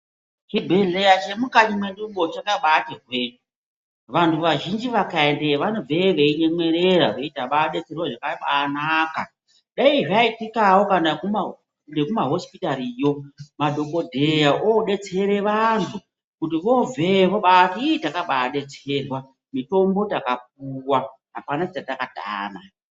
Chibhedhleya chemukati mwedumwo chakabati hwee vantu vazhinji vakaendeyo vanobveyo veinyemwerera veiti tababetserwa zvakabanaka. Dai zvaiitikavo kana ngekumahosipitariyo madhogodheya obetsere vantu kuti vobveyo vobati ii takababetserwa mutombo takapuva hapana chatakatama.